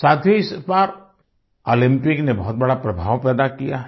साथियो इस बार ओलम्पिक ने बहुत बड़ा प्रभाव पैदा किया है